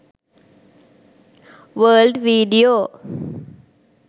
world video